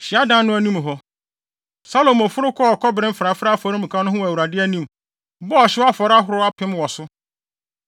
Hyiadan no anim hɔ, Salomo foro kɔɔ kɔbere mfrafrae afɔremuka no ho wɔ Awurade anim, bɔɔ ɔhyew afɔre ahorow apem wɔ so.